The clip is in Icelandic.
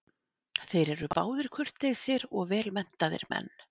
Þeir eru báðir kurteisir og vel menntaðir menn.